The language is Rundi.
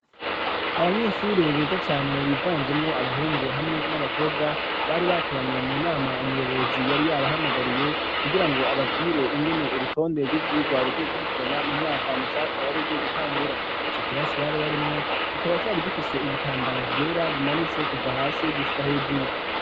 Abanyeshure beza cane bivanzemwo abahungu hamwe n'abakobwa bari bakoranye mu nama umuyobozi yari yaba hamagariye kugirango ababwire ingene urutonde rw'ivyirwa ruzo kurikirana mu mwaka mushasha wari ugiye gutangura ico kirasi bari barimwo kikaba cari gifise ibitambara vyera bimanitse kuva hasi gushika hejuru